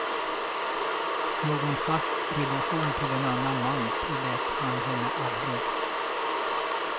Någon fast relation till en annan man tillät han henne aldrig.